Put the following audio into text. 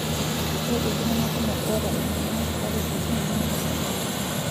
Ore iltungana kumokk oota emoyian esukari kiti nemeeta ilbulabul.